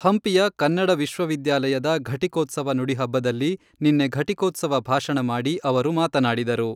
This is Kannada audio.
ಹಂಪಿಯ ಕನ್ನಡ ವಿಶ್ವವಿದ್ಯಾಲಯದ ಘಟಿಕೋತ್ಸವ ನುಡಿಹಬ್ಬದಲ್ಲಿ ನಿನ್ನೆ ಘಟಿಕೋತ್ಸವ ಭಾಷಣ ಮಾಡಿ ಅವರು ಮಾತನಾಡಿದರು.